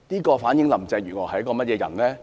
這反映林鄭月娥是一個怎樣的人呢？